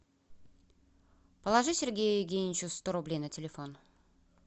положи сергею евгеньевичу сто рублей на телефон